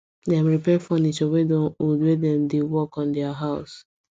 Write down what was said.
dem repair furniture wey don old when dem dey work on their house